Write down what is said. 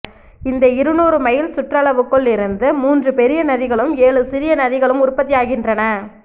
இந்த இருநூறு மைல் சுற்றளவுக்குள் இருந்து மூன்று பெரிய நதிகளும் ஏழு சிறிய நதிகளும் உற்பத்தியாகின்றன